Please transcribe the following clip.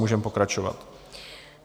Můžeme pokračovat.